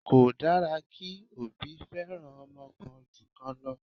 Kò dára kí òbí feran ọmọ kan ju kan lọ.